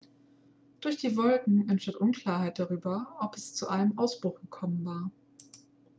durch die wolken enstand unklarheit darüber ob es zu einem ausbruch gekommen war